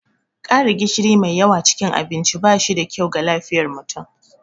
ƙara gishiri mai yawa cikin abinci ba shi da kyau ga lafiyar mutum